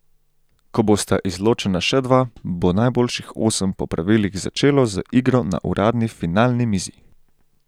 Ko bosta izločena še dva, bo najboljših osem po pravilih začelo z igro na uradni finalni mizi.